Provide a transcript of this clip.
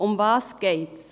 Worum geht es?